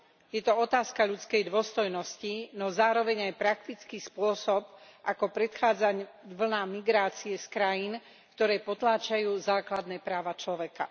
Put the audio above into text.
Je to otázka ľudskej dôstojnosti, no zároveň aj praktický spôsob, ako predchádzať vlnám migrácie z krajín, ktoré potláčajú základné práva človeka.